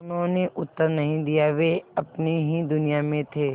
उन्होंने उत्तर नहीं दिया वे अपनी ही दुनिया में थे